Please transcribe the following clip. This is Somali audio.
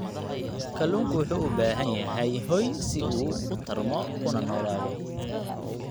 Kalluunku wuxuu u baahan yahay hoy si uu u tarmo una noolaado.